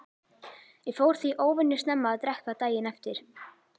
Ég fór því óvenju snemma að drekka daginn eftir.